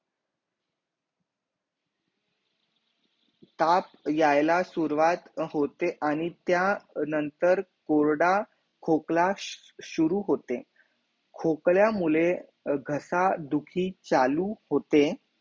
ताप याहीला शुरुवात होते आणि त्या नंतर कोरडा खोकलाश शुरु होते खोकल्या मुझे घसा दुखी चालू होते